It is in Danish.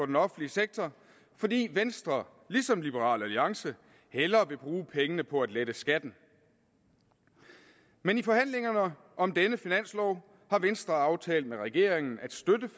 den offentlige sektor fordi venstre ligesom liberal alliance hellere vil bruge pengene på at lette skatten men i forhandlingerne om denne finanslov har venstre aftalt med regeringen at støtte